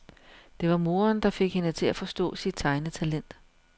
Det var moderen, der fik hende til at forstå sit tegnetalent.